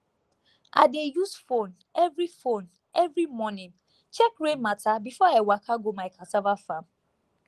i dey use phone every phone every morning check rain matter before i waka go my cassava farm